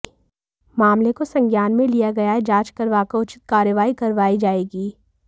मामले को संज्ञान में लिया गया है जांच करवाकर उचित कार्यवाही करवाई जाएगी